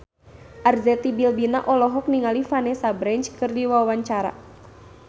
Arzetti Bilbina olohok ningali Vanessa Branch keur diwawancara